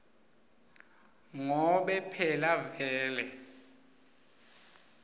ngobe phela vele